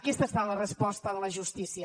aquesta ha estat la resposta de la justícia